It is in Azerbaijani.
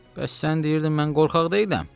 Bəs sən deyirdin mən qorxaq deyiləm?